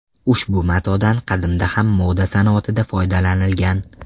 Ushbu matodan qadimda ham moda sanoatida foydalanilgan.